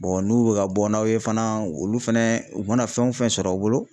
n'u bɛ ka bɔ n'aw ye fana olu fana u mana fɛn o fɛn sɔrɔ u bolo.